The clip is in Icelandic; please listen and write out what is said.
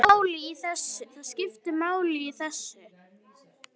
Það skiptir máli í þessu.